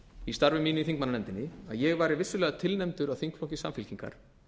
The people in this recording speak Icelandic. í starfi mínu í þingmannanefndinni að ég væri vissulega tilnefndur af þingflokki samfylkingar